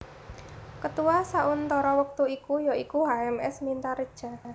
Ketua sauntara wektu iku ya iku H M S Mintaredja